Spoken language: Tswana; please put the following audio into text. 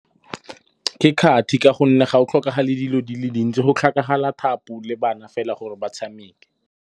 Ke kgathi ka gonne ga go tlhokagale dilo di le dintsi, go tlhokagala thapo le bana fela gore ba tshameke.